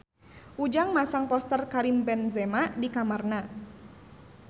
Ujang masang poster Karim Benzema di kamarna